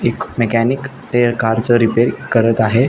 एक मेकॅनिक टेर कार च रिपेअर करत आहे.